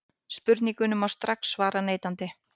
Spurningunni má strax svara neitandi.